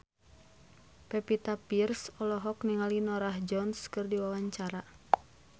Pevita Pearce olohok ningali Norah Jones keur diwawancara